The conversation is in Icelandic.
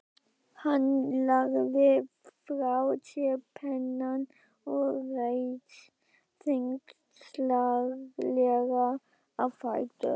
Hann lagði frá sér pennann og reis þyngslalega á fætur.